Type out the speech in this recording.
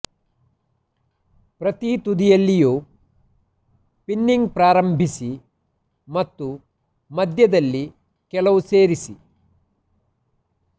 ಪ್ರತಿ ತುದಿಯಲ್ಲಿಯೂ ಪಿನ್ನಿಂಗ್ ಪ್ರಾರಂಭಿಸಿ ಮತ್ತು ಮಧ್ಯದಲ್ಲಿ ಕೆಲವು ಸೇರಿಸಿ